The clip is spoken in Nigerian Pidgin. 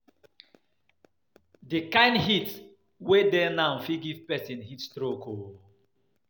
The kyn heat wey dey now fit give person heat stroke oo